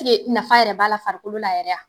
Ke nafa yɛrɛ b'a la farikolo la yɛrɛ a?